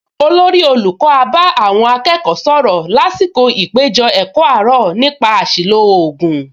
Olórí olùkọ́ á bá àwọn akẹ́kọ̀ọ sọ̀rọ̀ lásìkò ìpèjọ-ẹ̀kọ́ àárọ̀ nípa àṣìlò ògùn